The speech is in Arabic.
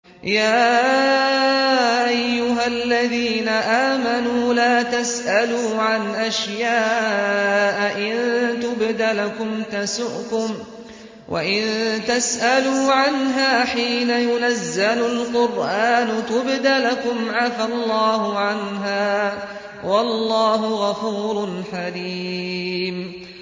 يَا أَيُّهَا الَّذِينَ آمَنُوا لَا تَسْأَلُوا عَنْ أَشْيَاءَ إِن تُبْدَ لَكُمْ تَسُؤْكُمْ وَإِن تَسْأَلُوا عَنْهَا حِينَ يُنَزَّلُ الْقُرْآنُ تُبْدَ لَكُمْ عَفَا اللَّهُ عَنْهَا ۗ وَاللَّهُ غَفُورٌ حَلِيمٌ